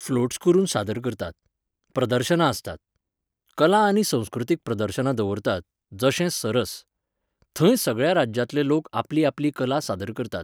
Floats करून सादर करतात. प्रदर्शनां आसतात.कला आनी संस्कृतीक प्रदर्शनां दवरतात, जशें सरस. थंय सगळ्या राज्यांतले लोक आपली आपली कला सादर करतात.